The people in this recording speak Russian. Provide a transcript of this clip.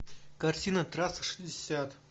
картина трасса шестьдесят